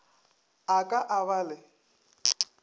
a ka a ba le